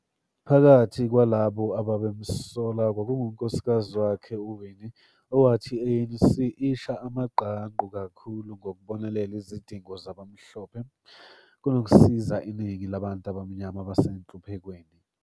Phakathi kwalabo ababemsola, kwakungunkosikazi wakhe uWinnie, owathi i-ANC isha amagqangqu kakhulu ngokubonelela izidingo zabamhlophe, kunokusiza iningi labantu abamnyama abasenhluphekweni.